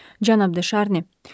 Cənab De Şarni.